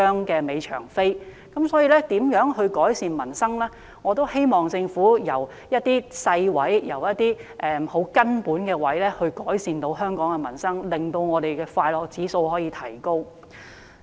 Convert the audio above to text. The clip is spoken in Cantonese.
就有關如何改善民生方面，我希望政府從一些細微、根本之處着手，令香港人的快樂指數可以提高。